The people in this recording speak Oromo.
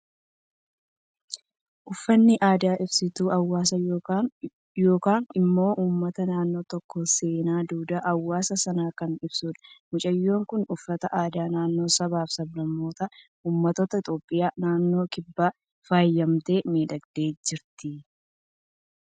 Uffannaan aadaa ibsituu hawaasa yookaan immoo uummata naannoo tokkoo, seenaa, duudhaa hawaasa sanaa kan ibsudha. Mucayyoon Kun uffata aadaa naannoo saba, sablammootaa fi uummattoota Itoophiyaa naannoo kibbaan faayyamtee, miidhagdee jirti.